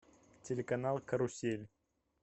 телеканал карусель